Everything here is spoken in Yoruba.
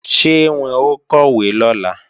Ṣé wọn ó kọ̀wé lọ́la?